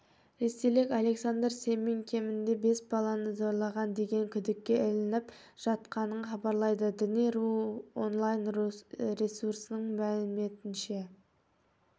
ресейлік александр семин кемінде бес баланы зорлаған деген күдікке ілініп жатқанын хабарлайды дни ру онлайн-ресурсының мәліметінше